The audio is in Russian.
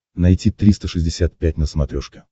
найти триста шестьдесят пять на смотрешке